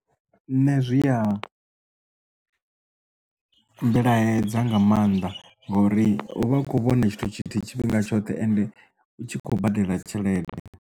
Nṋe zwi ya mmbilaedzisa nga maanḓa ngori uvha u kho vhona tshithu tshithihi tshifhinga tshoṱhe ende u tshi khou badela tshelede.